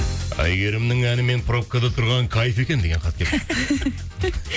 әйгерімнің әнімен пробкада тұрған кайф екен деген хат келіпті